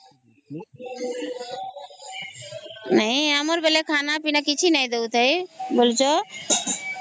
ନେହିଁ ଆମର ବେଳେ ଖାନା ପୀନା କିଛି ନାହିଁ ଦେଉଥାଏ ବୋଲା ଉଛ